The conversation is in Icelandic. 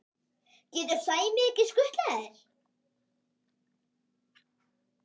getur Sæmi ekki skutlað þér?